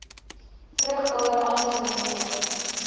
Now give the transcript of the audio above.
vrugbaar aangewend kon